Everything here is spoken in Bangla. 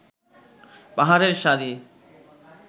পাহাড়ের সারি